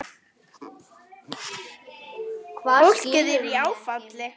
Fólkið er í áfalli.